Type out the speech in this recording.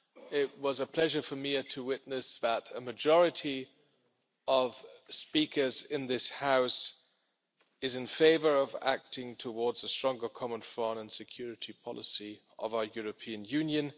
It was a pleasure for me to witness that a majority of speakers in this House is in favour of acting towards a stronger common foreign and security policy of our European Union.